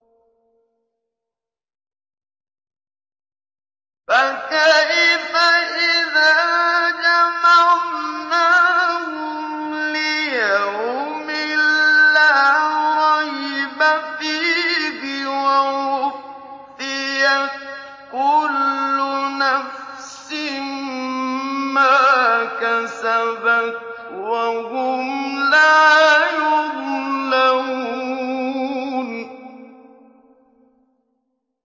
فَكَيْفَ إِذَا جَمَعْنَاهُمْ لِيَوْمٍ لَّا رَيْبَ فِيهِ وَوُفِّيَتْ كُلُّ نَفْسٍ مَّا كَسَبَتْ وَهُمْ لَا يُظْلَمُونَ